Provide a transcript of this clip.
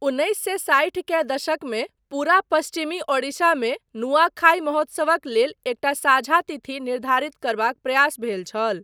उन्नैस सए साठि के दशकमे पूरा पश्चिमी ओडिशामे नुआखाई महोत्सवक लेल एकटा साझा तिथि निर्धारित करबाक प्रयास भेल छल।